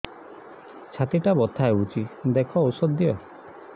ଛାତି ଟା ବଥା ହଉଚି ଦେଖ ଔଷଧ ଦିଅ